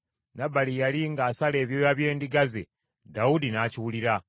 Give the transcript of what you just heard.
Nabali yali ng’asala ebyoya by’endiga ze, Dawudi n’akiwulira.